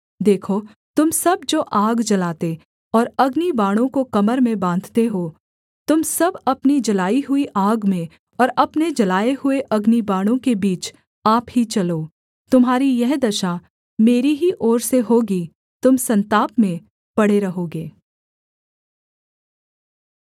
देखो तुम सब जो आग जलाते और अग्निबाणों को कमर में बाँधते हो तुम सब अपनी जलाई हुई आग में और अपने जलाए हुए अग्निबाणों के बीच आप ही चलो तुम्हारी यह दशा मेरी ही ओर से होगी तुम सन्ताप में पड़े रहोगे